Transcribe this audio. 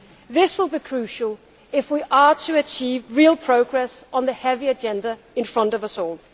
This will be crucial if we are to achieve real progress on the heavy agenda in front of us all.